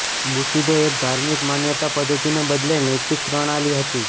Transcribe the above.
bushido એક ધાર્મિક માન્યતા પદ્ધતિને બદલે નૈતિક પ્રણાલી હતી